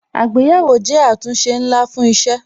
Àgbéyẹ̀wò jẹ́ àtúnṣe ńlá fún isẹ